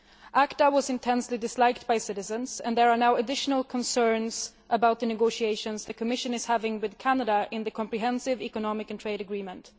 ACTA was intensely disliked by citizens, and there are now additional concerns about the negotiations the Commission is having with Canada in the comprehensive economic and trade agreement.